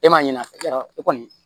E ma ɲɛna e kɔni